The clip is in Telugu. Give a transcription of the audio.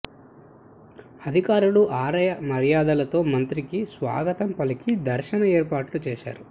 అధికారులు ఆలయ మర్యాదలతో మంత్రికి స్వాగతం పలికి దర్శన ఏర్పాట్లు చేశారు